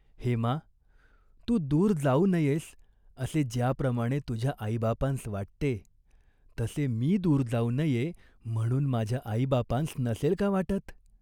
हेमा, तू दूर जाऊ नयेस असे ज्याप्रमाणे तुझ्या आईबापांस वाटते, तसे मी दूर जाऊ नये म्हणून माझ्या आईबापांस नसेल का वाटत ?